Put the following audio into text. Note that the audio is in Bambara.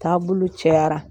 Taabolo cayara.